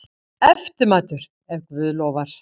Eftirmatur, ef guð lofar.